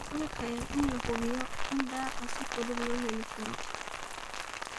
dhulka iyo in la hubiyo in daaqa si fudud loo heli karo.